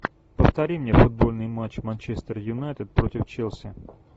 повтори мне футбольный матч манчестер юнайтед против челси